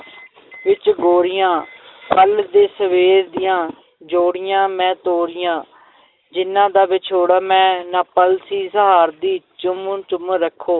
ਵਿੱਚ ਗੋਰੀਆਂ ਕੱਲ੍ਹ ਦੇ ਸਵੇਰ ਦੀਆਂ ਜੋੜੀਆਂ ਮੈਂ ਤੋਰੀਆਂ ਜਿਨ੍ਹਾਂ ਦਾ ਵਿਛੋੜਾ ਮੈਂ ਨਾ ਪਲ ਸੀ ਸਹਾਰਦੀ ਚੁੰਮ ਚੁੰਮ ਰੱਖੋ